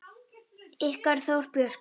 Ykkar Þóra Björk.